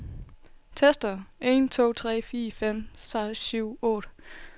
Tester en to tre fire fem seks syv otte.